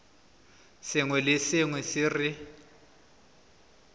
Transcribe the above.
sengwe le sengwe se re